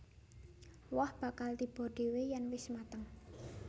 Woh bakal tiba dhéwé yèn wis mateng